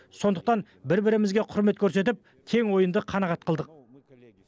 сондықтан бір бірімізге құрмет көрсетіп тең ойынды қанағат қылдық